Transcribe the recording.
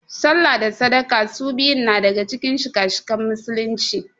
sallah da sadaka su biyun na daga Cikin shika - shikan musulunci.